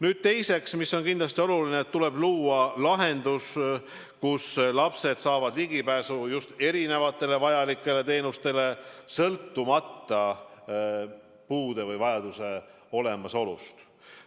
Nüüd teiseks, mis on kindlasti oluline: tuleb luua lahendus, kus lapsed saavad ligipääsu erinevatele vajalikele teenustele, sõltumata puude või vajaduse olemasolust.